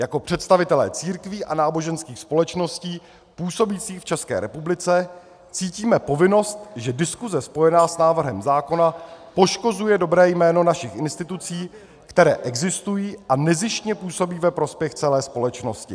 Jako představitelé církví a náboženských společností působících v České republice cítíme povinnost , že diskuse spojená s návrhem zákona poškozuje dobré jméno našich institucí, které existují a nezištně působí ve prospěch celé společnosti.